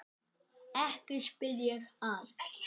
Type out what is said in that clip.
Ekki spyr ég að.